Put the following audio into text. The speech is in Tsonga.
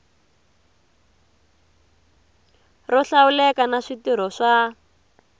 ro hlawuleka na switirho swa